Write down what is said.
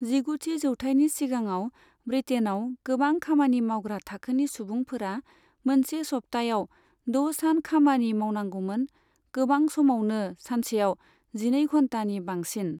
जिगुथि जौथायनि सिगाङाव, ब्रिटेनआव गोबां खामानि मावग्रा थाखोनि सुबुंफोरा मोनसे सप्ताहयाव द' सान खामानि मावनांगौमोन, गोबां समावनो सानसेयाव जिनै घन्टानि बांसिन।